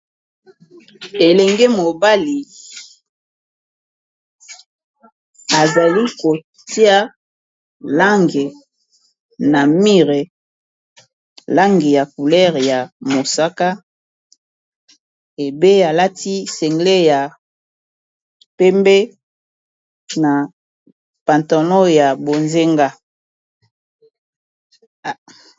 Elenge mobali azali kotia langi na mire langi ya coulere ya mosaka bebe alati sengle ya pembe na patanlon ya bozenga.